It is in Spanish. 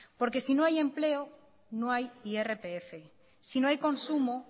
porque si no hay empleo no hay irpf si no hay consumo